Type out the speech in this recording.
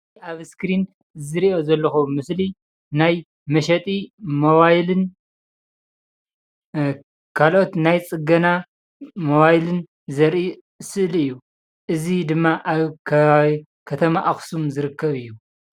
አብ እስክሪን ዝሪኦ ዘለኩ ምስሊ ናይ መሸጢ ሞባይልን ካልኦት ናይ ፅገና ሞባይልን ዘርኢ ስእሊ እዩ፡፡ እዚ ድማ አብ ከባቢ ከተማ አክሱም ዝርከብ እዩ፡፡